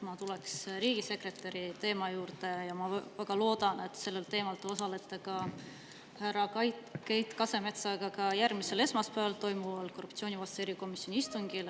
Ma tulen riigisekretäri teema juurde, ja ma väga loodan, et sellel teemal te osalete härra Keit Kasemetsaga ka järgmisel esmaspäeval toimuval korruptsioonivastase erikomisjoni istungil.